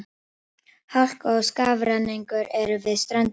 Hálka og skafrenningur er við ströndina